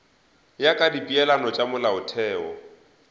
ya ka dipeelano tša molaotheo